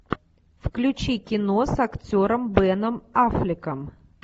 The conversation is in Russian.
включи кино с актером беном аффлеком